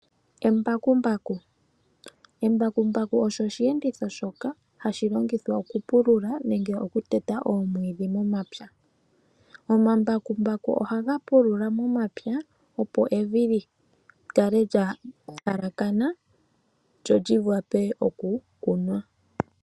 Embakumbaku osho osheenditho shoka hashi longithwa okupulula nenge okuteta oomwiidhi momapya. Omambakumbaku ohaga pulula momapya opo evi li kale lya lalakana, lyo li wape okukunwa.